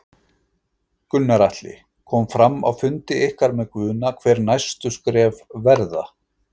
Gunnar Atli: Kom fram á fundi ykkar með Guðna hver næstu skref verða?